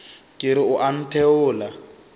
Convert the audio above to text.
ke re o a ntheola